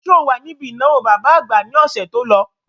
Ṣé o wà níbi ìnáwó bàbá àgbà ní ọ̀sẹ̀ to lọ?